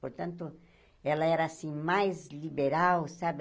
Portanto, ela era, assim, mais liberal, sabe?